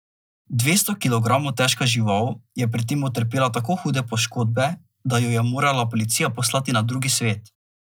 Dvesto kilogramov težka žival je pri tem utrpela tako hude poškodbe, da jo je morala policija poslati na drugi svet.